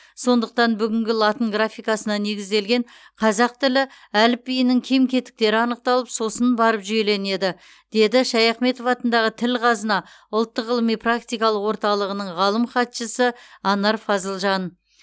сондықтан бүгінгі латын графикасына негізделген қазақ тілі әліпбиінің кем кетіктері анықталып сосын барып жүйеленеді деді шаяхметов атындағы тіл қазына ұлттық ғылыми практикалық орталығының ғалым хатшысы анар фазылжан